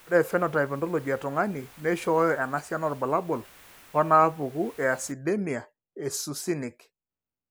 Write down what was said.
Ore ephenotype ontology etung'ani neishooyo enasiana oorbulabul onaapuku eacidemia eSuccinic.